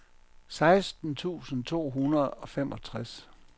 seksten tusind to hundrede og femogtres